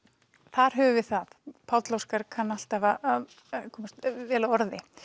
þar höfum við það Páll Óskar kann alltaf að koma vel að orði